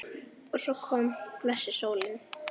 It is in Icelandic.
Og svo kom blessuð sólin!